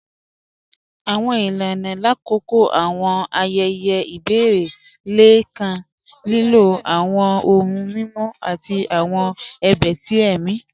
Àwọn ilànà lákọọ̀ àwọn ayẹyẹ̀ ibẹ̀rẹ̀ lẹ̀ kàn lílọ̀ àwọn ọ̀hùn mímọ̀ àti àwọn ẹ̀bẹ̀ tí ẹ̀mi.